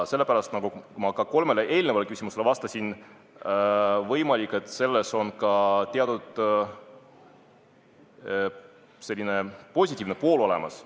Sellepärast, nagu ma ka kolmele eelnevale küsimusele vastates ütlesin, võimalik, et selles regulatsioonis on ka teatud positiivne pool olemas.